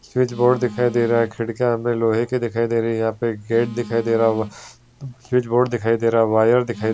switch board दिखाई दे रहा खिड़कियां हमे लोहे की दिखाई दे रही यहां पे गेट दिखाई दे रहा स्विच बोर्ड दिखाई दे रहा वायर दिखाई --